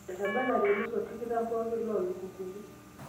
etebelate ilmosor tikitam pooki loo lukunkuni